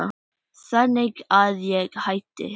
Þannig að ég hætti.